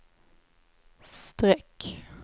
streck